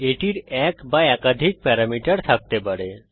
এটির এক বা একাধিক প্যারামিটার থাকতে পারে